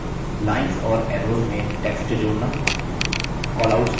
lines और arrows में text जोड़ना